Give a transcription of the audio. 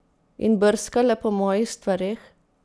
In brskale po mojih stvareh?